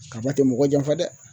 Kaba tɛ mɔgɔ janfa dɛ